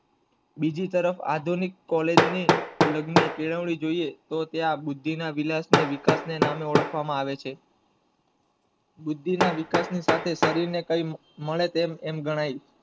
બીજી બાજુ આધુનિક કોલેજ ની લગની કેળવણી, તો ત્યાં બુદ્ધિ ના વીલાસ ને વીકાસ ને સામે ઓળખવામાં આવે છે. બુદ્ધિ ના વિકાસ ના સાથે શરીર ને કઈ મળે તો આમ ગણાય છે